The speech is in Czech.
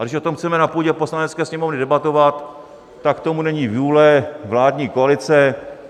A když o tom chceme na půdě Poslanecké sněmovny debatovat, tak k tomu není vůle vládní koalice.